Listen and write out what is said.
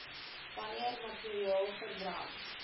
wanneer materiaal verbrand